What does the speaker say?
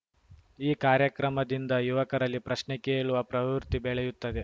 ಈ ಕಾರ್ಯಕ್ರಮದಿಂದ ಯುವಕರಲ್ಲಿ ಪ್ರಶ್ನೆ ಕೇಳುವ ಪ್ರವೃತ್ತಿ ಬೆಳೆಯುತ್ತದೆ